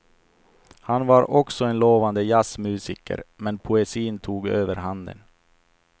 Han var också en lovande jazzmusiker, men poesin tog överhanden.